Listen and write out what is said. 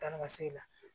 Taa ni ka segin la